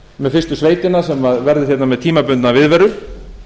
með fyrstu sveitina sem verður hérna með tímabundna viðveru